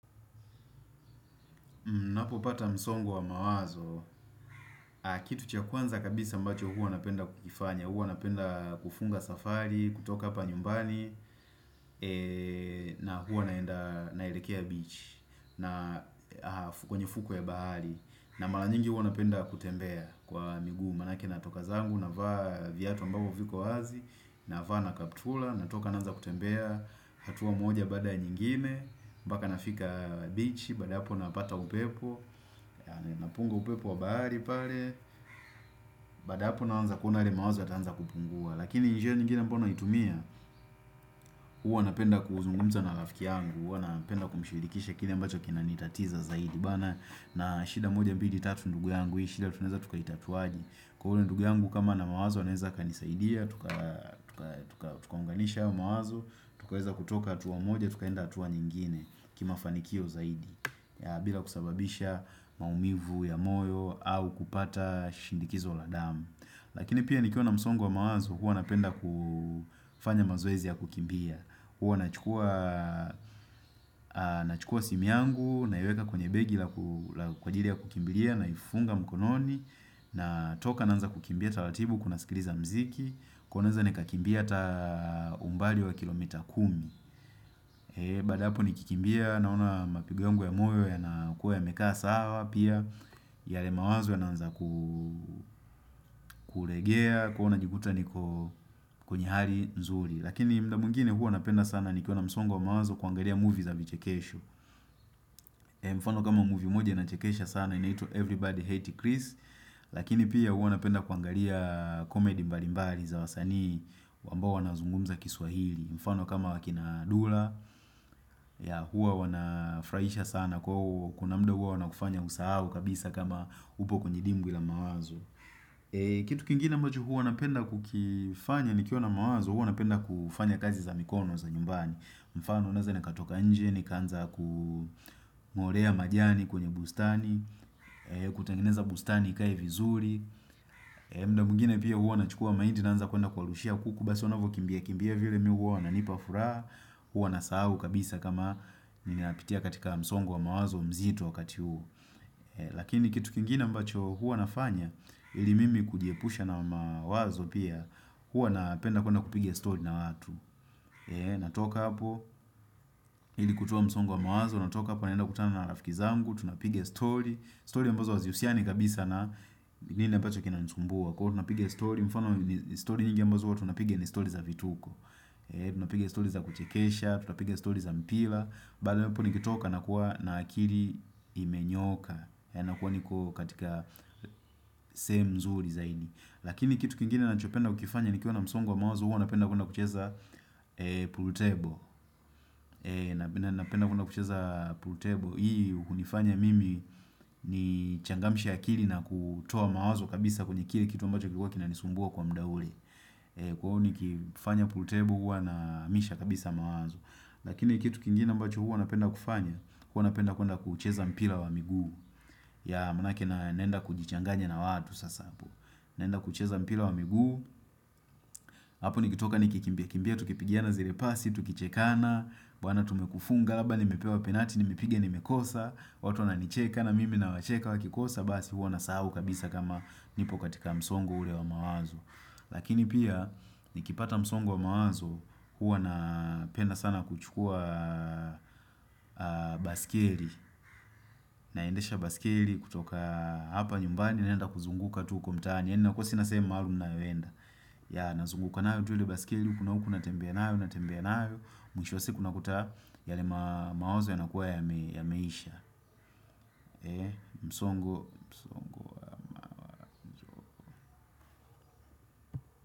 Ninapopata msongo wa mawazo, kitu cha kwanza kabisa ambacho uwanapenda kukifanya, uwanapenda kufunga safari, kutoka hapa nyumbani na huwanaenda naelekea beach kwenye fuko ya bahari, na mara nyingi huwanapenda kutembea kwa miguu. Manake natoka zangu, navaa viatu ambavyo viko wazi, navaa na kaptula, natoka naanza kutembea, hatuwa moja bada nyingine, mpaka nafika bichi, badaapo napata upepo, napunga upepo wa bahari pale, baada hapo naanza kuona yale mawazo yataanza kupungua. Lakini njia nyingine ambayo naitumia, huwa napenda kuzungumza na rafiki yangu, huwa napenda kumshirikisha kile ambacho kinanitatiza zaidi. Na shida moja mbili tatu ndugu yangu. Hii shida tunaeza tukaitatuaje. Kwa hule ndugu yangu kama na mawazo anaeza kanizaidia tukaunganisha hayo mawazo tukaweza kutoka hatua moja tukaenda hatua nyingine kimafanikio zaidi bila kusababisha maumivu ya moyo au kupata shindikizo la damu. Lakini pia nikiona msongo mawazo hua napenda kufanya mazoezi ya kukimbia Hua nachukua simu yangu naiweka kwenye begi kwa ajiri ya kukimbiria na ifunga mkononi natoka naanza kukimbia taratibu huku nasikiriza mziki kwa hivo naenza ni kakimbia ata umbali wa kilomita kumi ee, baada hapo nikikimbia naona mapigo yangu ya moyo yanakuwa yamekaa sawa pia yale mawazo yanaanza kuregea kwa hio nijikuta ni kwenye hali nzuri lakini muda mwingine huwa napenda sana nikiwa msongo mawazo kuangalia movie za vichekesho Mfano kama movie moja inachekesha sana inaitwa Everybody Hate Chris Lakini pia hua napenda kuangalia komedi mbali mbali za wasanii ambao wanazungumza kiswahili mfano kama wakina dula Hua wanafurahisha sana kuna muda hua wanakufanya usahau kabisa kama upo kwenye dimbwi ila mawazo Kitu kingine ambacho huwa napenda kukifanya nikiwa na mawazo hua napenda kufanya kazi za mikono za nyumbani. Mfano naeza nikatoka nje nikaaza kuungorea majani kwenye bustani kutengeneza bustani ikae vizuri muda mwingine pia huwa nachukua mahindi naanza kuenda kuwarushia kuku basi wanavyo kimbia kimbia vile mimi huwa wananipa furaha, huwa nasahau kabisa kama ninapitia katika msongo wa mawazo mzito wakati huu Lakini kitu kingine ambacho huwa nafanya ili mimi kujiepusha na mawazo pia huwa napenda kuenda kupiga story na watu natoka hapo ili kutoa msongo wa mawazo, natoka hapo naenda kukutana na rafiki zangu tunapiga story, story ambazo hazihusiani kabisa na nini ambacho kinanisumbua, kwa hivo tunapiga story, mfano story nyingi ambazo huwa tunapiga ni story za vituko Tunapiga story za kuchekesha, tunapiga story za mpira, mahali hapo nikitoka nakuwa na akili imenyooka yaani nakuwa niko katika sehemu nzuri zaidi. Lakini kitu kingine ninachopenda kukifanya nikiwa na msongo wa mawazo huwa napenda kwenda kucheza pool table, napenda kwenda kucheza pool table hii hunifanya mimi nichangamshe akili na kutoa mawazo kabisa kwenye kile kitu ambacho kilikuwa kinanisumbua kwa muda ule kwa hivyo nikifanya pool table huwa nahamisha kabisa mawazo, lakini kitu kingine ambacho huwa napenda kufanya huwa napenda kwenda kuucheza mpira wa migu. Yeah maanake naenda kujichanganya na watu sasa, naenda kucheza mpira wa miguu hapo nikitoka nikikimbia kimbia tukipigana zile pasi tukichekana, bwana tumekufunga, labda nimepewa penati, nimepiga nimekosa, watu wananicheka na mimi nawacheka wakikosa, basi huwa nasahau kabisa kama nipo katika msongo ule wa mawazo. Lakini pia, nikipata msongo wa mawazo, huwa napenda sana kuchukua baiskeri, naendesha baiskeri kutoka hapa nyumbani naenda kuzunguka tu uko mtaani, yaani nakuwa sina sehemu maalum ninayoenda. Yeah, nazuguka nayo tu ile baiskeli huku na huku, natembea nayo, natembea nayo, mwisho wa siku unakuta yale mawazo yanakuwa yameisha. Msongo.